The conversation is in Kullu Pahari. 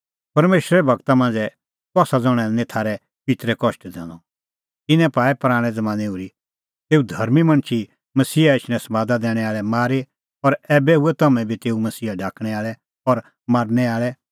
परमेशरे गूरा मांझ़ै कसा ज़ण्हैं लै निं थारै पित्तरै कष्ट दैनअ तिन्नैं पाऐ पराणैं ज़मानैं ओर्ही तेऊ धर्मीं मणछ मसीहा एछणें समादा दैणैं आल़ै मारी और ऐबै हुऐ तम्हैं बी तेऊ मसीहा ढाकणैं आल़ै और मारनै आल़ै